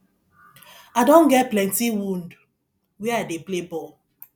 i don get plenty wound where i dey play ball